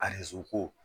A ko